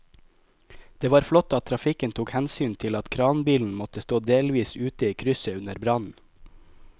Det var flott at trafikken tok hensyn til at kranbilen måtte stå delvis ute i krysset under brannen.